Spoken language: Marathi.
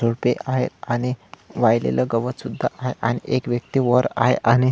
झुडपे आहेत आणि वाळलेल गवत सुद्धा आहे आणि एक व्यक्ति वर आहे आणि--